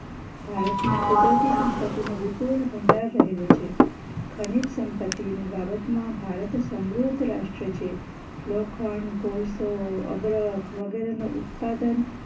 ભારતમાં કુદરતી સંપત્તિનો વિપુલ ભંડાર રહેલો છે ખનીજ સંપતિ ની બાબતમાં ભારત સમૃદ્ધ રાષ્ટ્ર છે લોખંડ કોલસો અબરખ વગર ઉત્પાદન